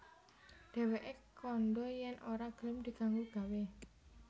Dhèwèké kandha yèn ora gelem diganggu gawé